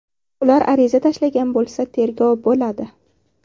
Ular ariza tashlagan bo‘lsa tergov bo‘ladi.